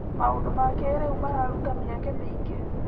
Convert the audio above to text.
Maũndũ ma kĩrĩu mararuta mĩeke mĩingĩ.